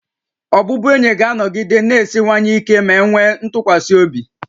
Ọbụbụenyi ga-anọgide na-esiwanye ike ma e nwee ntụkwasị obi